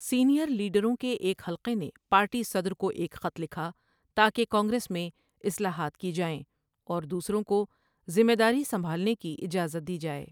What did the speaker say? Senior لیڈروں کے ایک حلقے نے پارٹی صدر کو ایک خط لکھا تاکہ کانگریس میں اصلاحات کی جائیں اور دوسروں کو ذمہ داری سنبھالنے کی اجازت دی جائے۔